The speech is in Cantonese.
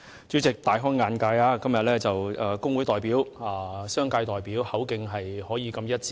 主席，我今天大開眼界，工會代表和商界代表竟然口徑一致。